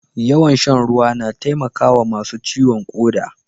Yawan shan ruwa na taimakawa masu ciwon koda.